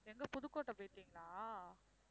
எங்க புதுக்கோட்டை போயிட்டீங்களா?